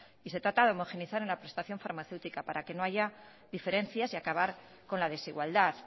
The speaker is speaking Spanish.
y se trata de homogeneizar en la prestación farmacéutica para que no haya diferencias y acabar con la desigualdad